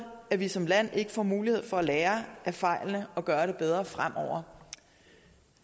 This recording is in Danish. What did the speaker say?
at vi som land ikke får mulighed for at lære af fejlene og gøre det bedre fremover